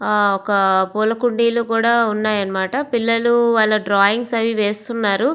ఆ ఒక పూల కుండీలు కూడా ఉన్నాయన్నమాట పిల్లలు వాళ్ళ డ్రాయింగ్స్ అవి వేస్తున్నారు.